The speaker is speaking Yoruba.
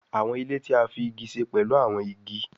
Àwọn ilé tí a fí ìgi ṣe pẹ̀lú áwọn ìgi